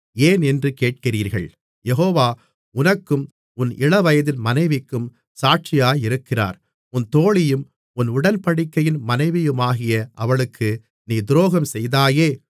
ஏன் என்று கேட்கிறீர்கள் யெகோவா உனக்கும் உன் இளவயதின் மனைவிக்கும் சாட்சியாயிருக்கிறார் உன் தோழியும் உன் உடன்படிக்கையின் மனைவியுமாகிய அவளுக்கு நீ துரோகம் செய்தாயே